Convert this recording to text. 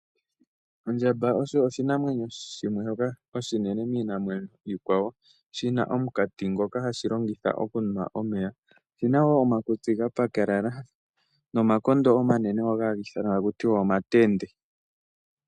Ondjamba osho oshinamwenyo shoka oshinene miinamwenyo iikwawo shi na omukati ngoka hashi longitha okunwa omeya oshi nawo omakutsi ga pakalala nomakondo omanene hagi ithanwa omatende.